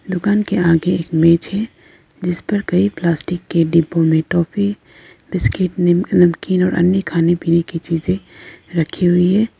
दुकान के आगे एक मेज है। जिस पर कई प्लास्टिक के डिब्बों में टॉफी बिस्किट नमकीन और अन्य खाने पीने की चीज़े रखी हुई है।